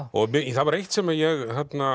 það var eitt sem ég